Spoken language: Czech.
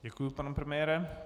Děkuji, pane premiére.